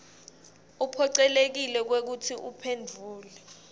uphocelekile kwekutsi uphendvule